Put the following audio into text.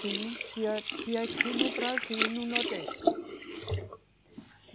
Sim, tinha, tinha aqui no Brasil, no Nordeste.